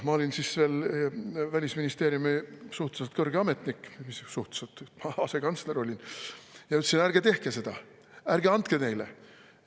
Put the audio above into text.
" Ma olin siis veel Välisministeeriumi suhteliselt kõrge ametnik – või mis suhteliselt, asekantsler olin – ja ütlesin: "Ärge tehke seda, ärge andke neile.